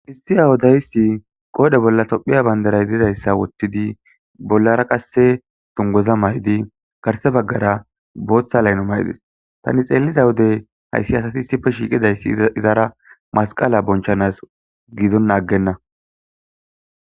Hissi awodayssi qoode bolla tophiya bayndaray dizayssa wottidi bollara qasse tungoza maydi garse baggara booththa layno maydis tani xeelliza wodey hayssi asati issife shiiqidayssi izara masqala bonchanas gidon aggenna.